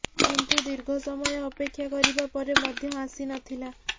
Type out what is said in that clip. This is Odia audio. କିନ୍ତୁ ଦୀର୍ଘ ସମୟ ଅପେକ୍ଷା କରିବା ପରେ ମଧ୍ୟ ଆସି ନଥିଲା